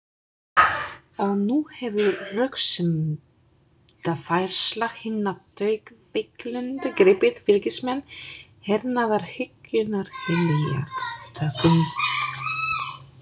Og nú hefur röksemdafærsla hinna taugaveikluðu gripið fylgismenn hernaðarhyggjunnar heljartökum.